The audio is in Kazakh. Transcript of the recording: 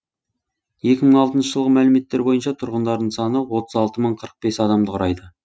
екі мың алтынша жылғы мәліметтер бойынша тұрғындарының саны отыз алты мың қырық бес адамды құрайды